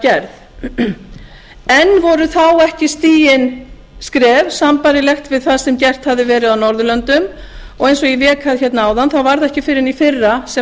gerð enn voru þá ekki stigin skref sambærileg við það sem gert hafði verið á norðurlöndum og eins og ég vék að hérna áðan var það ekki fyrr en í fyrra sem